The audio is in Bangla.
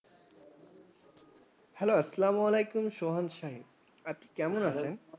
hello আসসালামু আলাইকুম, সোহান সাহেব। আপনি কেমন আছেন?